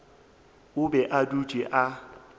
o be a dutše a